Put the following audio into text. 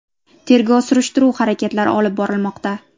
Tergov-surishtiruv harakatlari olib borilmoqda.